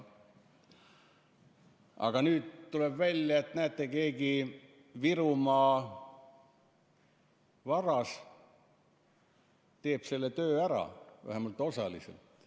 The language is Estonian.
Aga nüüd tuleb välja, et näete, keegi Virumaa varas teeb selle töö ära, vähemalt osaliselt.